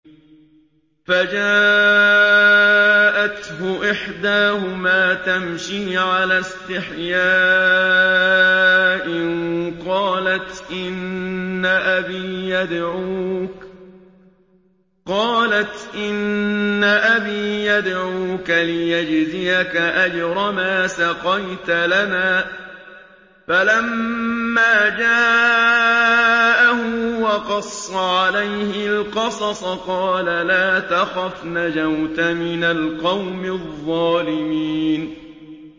فَجَاءَتْهُ إِحْدَاهُمَا تَمْشِي عَلَى اسْتِحْيَاءٍ قَالَتْ إِنَّ أَبِي يَدْعُوكَ لِيَجْزِيَكَ أَجْرَ مَا سَقَيْتَ لَنَا ۚ فَلَمَّا جَاءَهُ وَقَصَّ عَلَيْهِ الْقَصَصَ قَالَ لَا تَخَفْ ۖ نَجَوْتَ مِنَ الْقَوْمِ الظَّالِمِينَ